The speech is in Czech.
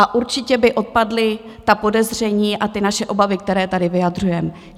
A určitě by odpadla ta podezření a ty naše obavy, které tady vyjadřujeme.